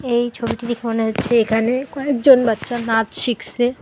এই ছবিটি দেখে মনে হচ্ছে এখানে কয়েকজন বাচ্চা নাচ শিখসে।